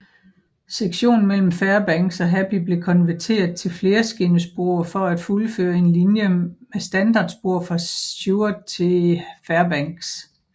Sektionen mellem Fairbanks og Happy blev konverteret til flerskinnespor for at fuldføre en linje med standardspor fra Seward til Fairbanks